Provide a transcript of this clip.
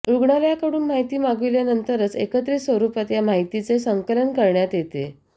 रुग्णालयाकडून माहिती मागविल्यानंतरच एकत्रित स्वरुपात या माहितीचे संकलन करण्यात येते